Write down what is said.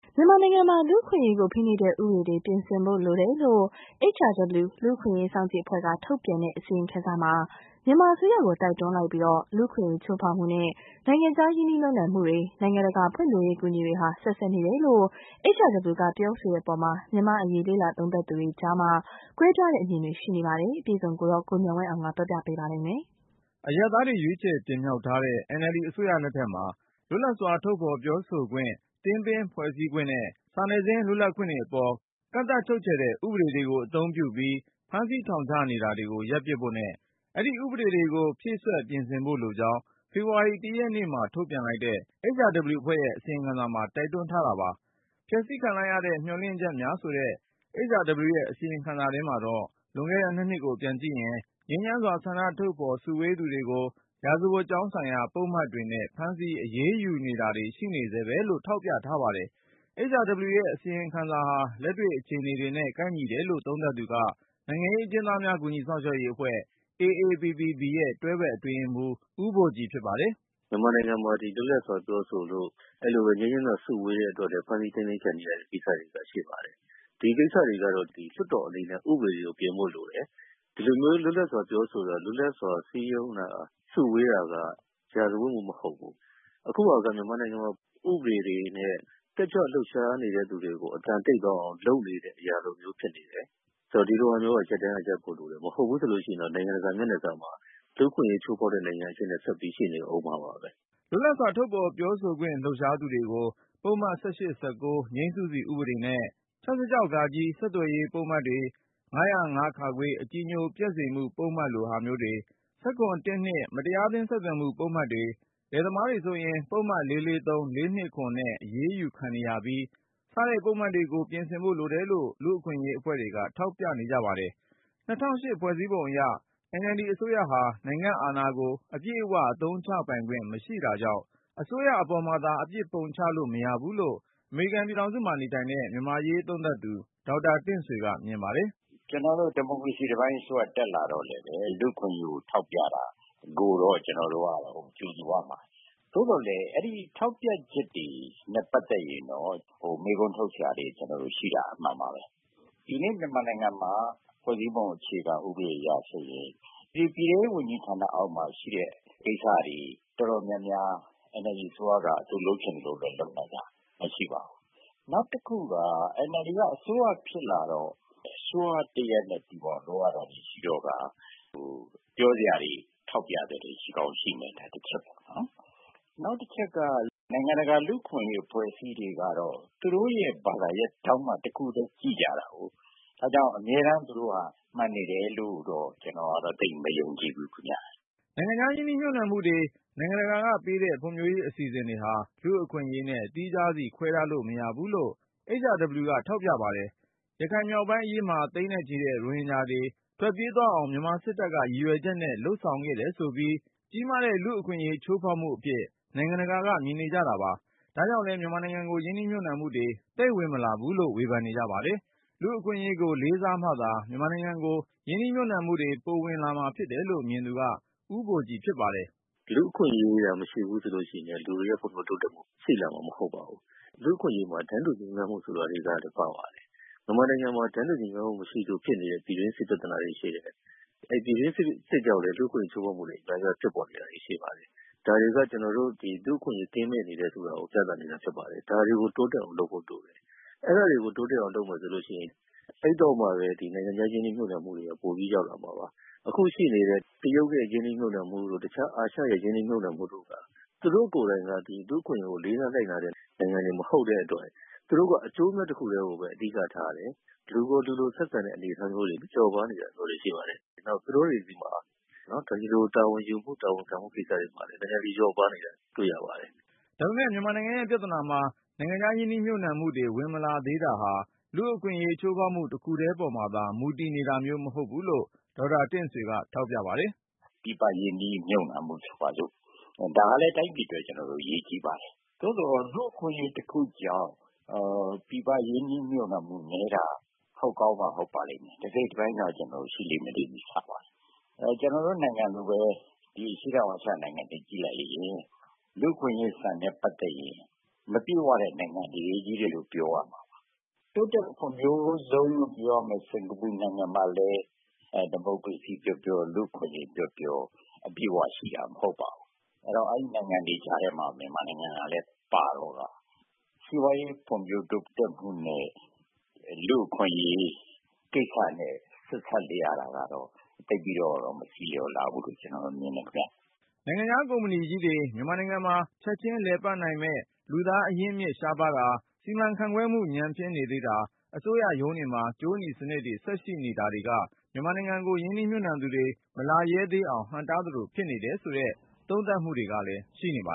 မြန်မာနိုင်ငံမှာ လူ့အခွင့်အရေးကို ဖိနှိပ်တဲ့ဥပဒေတွေ ပြင်ဆင်ဖို့လိုတယ်လို့ HRW လူ့အခွင့်အရေး စောင့်ကြည့် အဖွဲ့က ထုတ်ပြန်တဲ့ အစီရင်ခံစာမှာ မြန်မာအစိုးရကို တိုက်တွန်းလိုက်ပြီး လူ့အခွင့်အရေးချိုးဖောက်မှုနဲ့ နိုင်ငံခြား ရင်းနှီးမြှုပ်နှံမှုတွေ၊ နိုင်ငံတကာဖွံ့ဖြိုးရေး အကူအညီတွေဟာ ဆက်စပ်နေတယ်လို့ HRW ကပြောဆိုတဲ့အပေါ် မြန်မာ့ အရေး လေ့လာသုံးသပ်သူတွေကြား ကွဲပြားတဲ့အမြင်တွေ ရှိနေကြပါတယ်။ ကိုဉာဏ်ဝင်းအောင်က စုစည်းတင်ပြထားပါတယ်။ အရပ်သားတွေ ရွေးချယ်တင်မြှောက်ထားတဲ့ NLD အစိုးရလက်ထက်မှာ လွတ်လပ်စွာ ထုတ်ဖော်ပြောဆိုခွင့်၊ သင်းပင်းဖွဲ့စည်းခွင့်နဲ့ စာနယ်ဇင်း လွတ်လပ်ခွင့်တွေအပေါ် ကန့်သတ်ချုပ်ချယ်တဲ့ ဥပဒေတွေကိုအသုံးပြုပြီး ဖမ်းဆီးထောင်ချနေတာကို ရပ်ပစ်ဖို့နဲ့ အဲဒီဥပဒေတွေကို ဖြည့်စွက် ပြင်ဆင်ဖို့လိုကြောင်း ဖေဖော်ဝါရီ ၁ ရက် နေ့မှာ ထုတ်ပြန်လိုက်တဲ့ HRW ရဲ့အစီရင်ခံစာမှာ တိုက်တွန်းထားတာပါ။ “ဖျက်ဆီးခံလိုက်ရသည့် မျှော်လင့်ချက်များ” ဆိုတဲ့ HRW ရဲ့ အစီရင်ခံစာထဲမှာတော့ လွန်ခဲ့တဲ့ ၂ နှစ်ကို ပြန်ကြည့်ရင် ငြိမ်းချမ်းစွာ ဆန္ဒထုတ်ဖော် စုဝေးသူတွေကို ရာဇဝတ်ကြောင်းဆိုင်ရာ ပုဒ်မတွေနဲ့ ဖမ်းဆီး အရေးယူနေတာတွေ ရှိနေဆဲပဲလို့ ထောက်ပြထားပါတယ်။ HRW ရဲ့အစီရင်ခံစာဟာ လက်တွေ့အခြေအနေ တွေနဲ့ ကိုက်ညီတယ်လို့ သုံးသပ်သူက နိုင်ငံရေးအကျဉ်းသားများ ကူညီစောင့်ရှောက်ရေးအဖွဲ့ AAPPB ရဲ့ တွဲဘက် အတွင်းရေးမှူး ဦးဘိုကြည်ဖြစ်ပါတယ်။ “မြန်မာနိုင်ငံမှာ လွတ်လပ်စွာပြောဆိုလို့၊ အဲလိုပဲ ငြိမ်းချမ်းစွာစုဝေးတဲ့အတွက်လည်း ဖမ်းဆီးထိန်းသိမ်းခံနေရတဲ့ ကိစ္စတွေလည်း ရှိပါတယ်။ ဒီကိစ္စတွေကတော့ လွှတ်တော်အနေနဲ့ ဥပဒေပြင်ဖို့လိုတယ်။ ဒီလိုမျိုး လွတ်လပ်စွာ ပြောဆိုတာ၊ လွတ်လပ်စွာ စည်းရုံးတာ၊ စုဝေးတာက ရာဇဝတ်မှု မဟုတ်ဘူး။ အခုဟာက မြန်မာနိုင်ငံမှာ ဥပဒေတွေနဲ့ တက်ကြွလှုပ်ရှားနေတဲ့သူတွေကို အသံတိတ်သွားအောင် လုပ်နေတဲ့အရာလိုမျိုး ဖြစ်နေတယ်။…ဆိုတော့ ဒီလိုဟာမျိုးက ရပ်တန်းက ရပ်ဖို့လိုတယ်ပေါ့။ မဟုတ်ဘူး ဆိုလို့ရှိရင်တော့ နိုင်ငံတကာမျက်နှာစာမှာ လူ့အခွင့်အရေး ချိုးဖောက်တဲ့နိုင်ငံအဖြစ်နဲ့ ဆက်ပြီး ရှိနေအုံးမှာပါပဲ။” လွတ်လပ်စွာ ထုတ်ဖော်ပြောဆိုခွင့် လှုပ်ရှားသူတွေကို ပုဒ်မ ငြိမ်းစုစီဥပဒေနဲ့ ၆၆ ဆက်သွယ် ရေး ပုဒ်မတွေ၊ ၅၀၅ အကြည်ငြို ပျက်မှုပုဒ်မလို ဟာမျိုးတွေ၊ ၁၇ မတရားအသင်း ဆက်သွယ်မှု ပုဒ်မ တွေ၊ လယ်သမားတွေဆိုရင် ပုဒ်မ ၄၄၃/ ၄၂၇ နဲ့ အရေးယူခံနေရပြီး စတဲ့ ပုဒ်မတွေကို ပြင်ဆင်ဖို့လိုတယ်လို့ လူ့အခွင့်အရေးအဖွဲ့တွေက ထောက်ပြကြပါတယ်။ ၂၀၀၈ ဖွဲ့စည်းပုံဥပဒေအရ NLD အစိုးရဟာ နိုင်ငံ့အာဏာကို အပြည့်အဝ အသုံးချပိုင်ခွင့် မရှိတာကြောင့် အစိုးရအပေါ်မှာသာ အပြစ်ပုံချလို့ မရဘူးလို့ အမေရိကန်ပြည်ထောင်စုမှာ နေတဲ့ မြန်မာ့အရေးသုံးသပ်သူ ဒေါက်တာတင့်ဆွေက မြင်ပါတယ်။ “ကျနော်တို့ ဒီမိုကရေစီအစိုးရတက်လာတော့လည်းပဲ လူ့အခွင့်အရေးကို ထောက်ပြတာ ကိုတော့ ကျနော်တို့က ကြိုဆိုရမှာ။ သို့သော်လည်း အဲဒီထောက်ပြချက်တွေနဲ့ ပတ်သက် ရင်တော့ မေးခွန်းထုတ်စရာတွေရှိတာ အမှန်ပါပဲ။ ဒီနေ့ မြန်မာနိုင်ငံမှာ ဖွဲ့စည်းပုံ အခြေခံ ဥပဒေအရဆိုရင် ပြည်ထဲရေးဝန်ကြီးဌာနအောက်မှာရှိတဲ့ ကိစ္စတွေ အတော်များများ NLD အစိုးရက သူလုပ်ချင်သလို လုပ်နိုင်တာ မရှိပါဘူး။ နောက်တခုက NLD က အစိုးရဖြစ် လာတော့ အစိုးရတရပ်နဲ့တူအောင်လုပ်ရတာတွေ ရှိတော့ကာ ပြောစရာတွေ၊ ထောက်ပြ စရာတွေ ရှိကောင်းရှိမယ်။ ဒါကတချက်ပေါ့နော်။ နောက်တချက်က နိုင်ငံတကာ လူ့အခွင့် အရေးအဖွဲ့အစည်းတွေကတော့ သူတို့ရဲ့ဘာသာရပ်ထောင့်က တခုတည်းကြည့်ကြ တာကိုး။ ဒါ့ကြောင့် အမြဲတမ်း သူတို့က မှန်နေတယ်လို့တော့ ကျနော်ကတော့ သိပ်မယုံကြည်ဘူးခင်ဗျ။” နိုင်ငံခြားရင်းနှီးမြှုပ်နှံမှုတွေ၊ နိုင်ငံတကာကပေးတဲ့ ဖွံ့ဖြိုးရေးအစီအစဉ်တွေဟာ လူ့အခွင့် အရေးနဲ့ သီးခြားစီ ခွဲထားလို့ မရဘူးလို့လည်း HRW က ထောက်ပြပါတယ်။ ရခိုင်မြောက် ပိုင်းအရေးမှာ သိန်းနဲ့ချီတဲ့ ရိုဟင်ဂျာတွေ ထွက်ပြေးသွားအောင် မြန်မာစစ်တပ်က ရည်ရွယ်ချက်နဲ့ လုပ်ဆောင်ခဲ့တယ်ဆိုပြီး ကြီးမားတဲ့ လူ့အခွင့်အရေး ချိုးဖောက်မှုအဖြစ် နိုင်ငံတကာက မြင်နေကြတာပါ။ ဒါကြောင့်လည်း မြန်မာနိုင်ငံကို ရင်းနှီးမြှုပ်နှံမှုတွေ သိပ်ဝင် မလာဘူးလို့ ဝေဖန်နေကြပါတယ်။ လူ့အခွင့်အရေးကို လေးစားမှသာ မြန်မာနိုင်ငံကို ရင်းနှီးမြှုပ်နှံမှုတွေ ပိုဝင်လာ မှာဖြစ်တယ်လို့ မြင်သူက ဦးဘိုကြည် ဖြစ်ပါတယ်။ “လူ့အခွင့်အရေးသာမရှိဘူးဆိုရင် လူတွေရဲ့ဖွံ့ဖြိုးတိုးတက်မှုတွေလည်း ရှိလာမှာ မဟုတ် ပါဘူး။ လူ့အခွင့်အရေးမှာ တန်းတူညီမျှမှုဆိုတာတွေကလည်း ပါပါတယ်။ မြန်မာနိုင်ငံမှာ တန်းတူညီမျှမှုမရှိလို့ ဖြစ်နေတဲ့ ပြည်တွင်းစစ်ပြဿနာတွေရှိတယ်။ အဲဒီ ပြည်တွင်း စစ် ကြောင့်လည်း လူ့အခွင့်အရေးချိုးဖောက်မှုတွေ အများအပြား ဖြစ်ပေါ်နေတာတွေ ရှိပါ တယ်။ ဒါတွေက ကျနော်တို့လူ့အခွင့်အရေး ကင်းမဲ့နေတယ်ဆိုတာကို ပြသနေတာဖြစ်ပါ တယ်။ ဒါတွေကို တိုးတက်အောင်လုပ်ဖို့ လိုတယ်။ အဲဒါတွေကိုတိုးတက်အောင် လုပ်မယ် ဆိုလို့ရှိရင် အဲဒီတော့မှပဲ နိုင်ငံခြားရင်းနှီးမြှုပ်နှံမှုတွေက ပိုပြီးရောက်လာမှာပါ။ အခုရှိနေတဲ့ တရုတ်နဲ့ရင်းနှီးမြှုပ်နှံမှုတို့ တခြား အာရှရဲ့ ရင်းနှီးမြှုပ်နှံမှုတို့က သူတို့ကိုယ်တိုင်က လူ့အခွင့် အရေးကို လေးစားလိုက်နာတဲ့နိုင်ငံတွေ မဟုတ်တဲ့အတွက် သူတို့က အကျိုး အမြတ် တခုတည်းကိုပဲ အဓိကထားတယ်၊ လူကိုလူလိုဆက်ဆံတဲ့အနေအထားမျိုးတွေ လျော့ပါးနေတာမျိုးတွေ ရှိပါတယ်။ နောက် သူတို့တွေဆီမှာ ဒီလို တာဝန်ယူမှု၊ တာဝန်ခံမှု ကိစ္စတွေမှာ နည်းနည်းလေး လျော့ပါးနေတာ တွေ့ရပါတယ်။ ” ဒါပေမယ့် မြန်မာနိုင်ငံရဲ့ပြဿနာမှာ နိုင်ငံခြား ရင်းနှီးမြှုပ်နှံမှုတွေ ဝင်မလာသေးတာဟာ လူ့အခွင့်အရေး ချိုး ဖောက်မှု တခုတည်းပေါ်မှာ မူတည်နေတာမျိုး မဟုတ်ဘူးလို့ ဒေါက်တာတင့်ဆွေက ထောက်ပြပါတယ်။ “ပြည်ပရင်းနှီးမြှုပ်နှံမှုဆိုပါစို့၊ ဒါကလည်း တိုင်းပြည်အတွက် အရေးကြီးပါတယ်။ သို့သော် လူ့အခွင့်အရေး တခု ကြောင့် ပြည်ပရင်းနှီးမြှုပ်နှံမှုနည်းတာ ဟုတ်ကောင်းမှ ဟုတ် ပါလိမ့် မယ်လေ။ တစိတ်တပိုင်းတော့ ရှိလိမ့်မယ်လို့ ကျနော်တို့ ယူဆပါတယ်။ ကျနော်တို့ နိုင်ငံလိုပဲ အရှေ့တောင်အာရှ နိုင်ငံတွေကိုကြည့်လိုက်ရင် လူ့အခွင့်အရေး စံနဲ့ ပတ်သက် ရင် မပြည့်ဝတဲ့နိုင်ငံတွေချည့်ပဲလို့ ပြောရမှာပါ။ တိုးတက်ဖွံ့ဖြိုးဆုံးလို့ ပြောရမယ့် စင်္ကာပူနိုင်ငံ မှာလည်း ဒီမိုကရေစီပြောပြော၊ လူ့အခွင့်အရေးပြောပြော အပြည့်အဝ ရှိတာ မဟုတ်ပါဘူး။ အဲဒီတော့ အဲဒီ နိုင်ငံတွေကြားထဲမှာ မြန်မာနိုင်ငံကလည်း ပါတော့ ကာ စီးပွားရေးဖွံ့ဖြိုးတိုးတက်မှုနဲ့ လူ့အခွင့်အရေး ကိစ္စနဲ့ ဆက်စပ်နေရတာတော့ သိပ်ပြီးတော့ တော့ မဆီလျှော်လှဘူးလို့ ကျနော် မြင်တယ်ခင်ဗျ။” နိုင်ငံခြားကုမ္ပဏီကြီးတွေ မြန်မာနိုင်ငံမှာ ချက်ချင်းလည်ပတ်နိုင်မယ့် လူသားအရင်းအမြစ် ရှားပါးတာ၊ စီမံခန့်ခွဲမှု ညံ့ဖျင်းနေသေးတာ၊ အစိုးရရုံးတွေမှာ ကြိုးနီစနစ်တွေ ဆက်ရှိနေ တာတွေက မြန်မာနိုင်ငံကို ရင်းနှီးမြှုပ်နှံသူတွေ မလာရဲသေးအောင် ဟန့်တားသလိုဖြစ်နေ တယ်ဆိုတဲ့ သုံးသပ်မှုတွေလည်း ရှိနေပါ